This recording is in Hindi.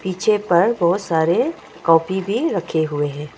पीछे पर बहुत सारे कॉपी भी रखे हुए हैं।